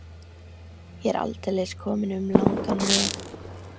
Ég er aldeilis kominn um langan veg.